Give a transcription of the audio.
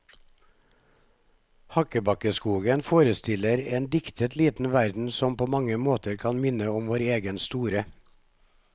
Hakkebakkeskogen forestiller en diktet liten verden som på mange måter kan minne om vår egen store.